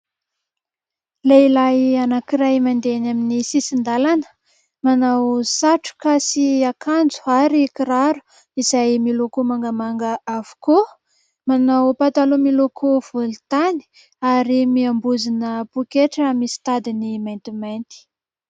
Lehilahy anankiray mandeha eny amin'ny sisin-dàlana, manao satroka sy akanjo ary kiraro izay miloko mangamanga avokoa. Manao pataloha miloko volontany ary miambozona pôketra misy tadiny maintimainty.